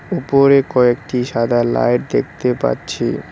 উপরে কয়েকটি সাদা লাইট দেখতে পাচ্ছি।